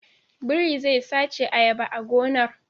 Biri zai sace ayaba a gonar